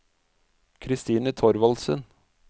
Christine Thorvaldsen